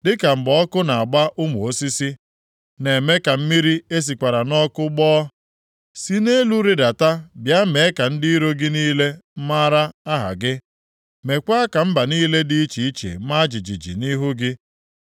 Dịka mgbe ọkụ na-agba ụmụ osisi, na-eme ka mmiri e sikwasịrị nʼọkụ gbọọ. Si nʼelu rịdata bịa mee ka ndị iro + 64:2 Ya bụ, ndị na-emegide gị gị niile maara aha gị, meekwa ka mba niile dị iche iche maa jijiji nʼihu gị.